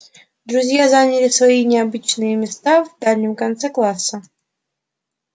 друзья заняли свои обычные места в дальнем конце класса